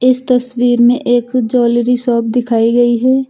इस तस्वीर में एक जौलरी शॉप दिखाई गई है।